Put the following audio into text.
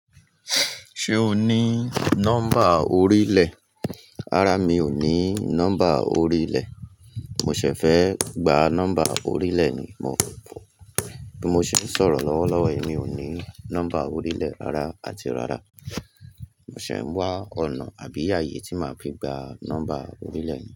Ṣé o ní nọ́mbà orílẹ̀? Rárá, mi ò ní nọ́mbà orílẹ̀. Mo ṣẹ̀ fẹ́ gba nọ́mbà orílẹ̀ ni, mó bí mo ṣe ń sọ̀rọ̀ lọ́wọ́ lọ́wọ́ yi, mi ò ní nọ́mbà orílẹ̀ rárá àti rárá. Mo ṣẹ̀ ń wá ọ̀nà àbí ààyè tí máa fi gba nọ́mbà orílẹ̀ yìí.